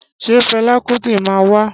Ṣé fẹla Kuti máa wa?